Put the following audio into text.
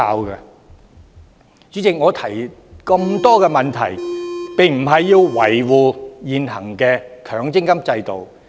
代理主席，我提出這麼多問題，並非為維護現行強積金制度。